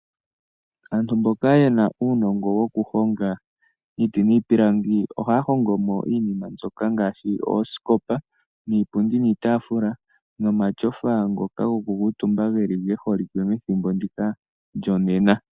Aantu mboka ye na uunongo wokuhonga iiti niipilangi ohaya hongomo iinima mbyoka ngaashi oosikopa, iipundi niitafula nomatyofa ngoka haga kuutumbiwa, ge holike methimbo ndika lyonena.